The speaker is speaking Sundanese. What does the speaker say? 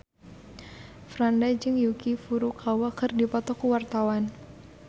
Franda jeung Yuki Furukawa keur dipoto ku wartawan